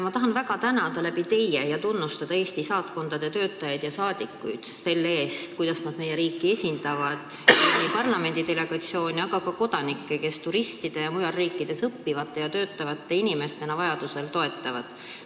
Ma tahan väga teie kaudu tänada ja tunnustada Eesti saatkondade töötajaid, sh saadikuid selle eest, kuidas nad meie riiki esindavad ning toetavad nii parlamendi delegatsioone kui ka muid kodanikke, kes turistide või välismaal õppivate või töötavate inimestena vahel abi vajavad.